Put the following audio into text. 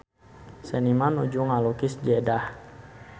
Seniman nuju ngalukis Jeddah